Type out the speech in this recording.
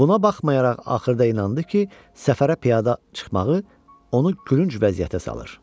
Buna baxmayaraq axırda inandı ki, səfərə piyada çıxmağı onu gülünc vəziyyətə salır.